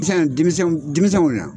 Denmisɛn denmisɛn denmisɛnw na